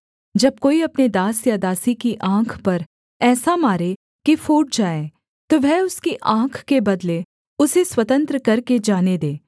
जब कोई अपने दास या दासी की आँख पर ऐसा मारे कि फूट जाए तो वह उसकी आँख के बदले उसे स्वतंत्र करके जाने दे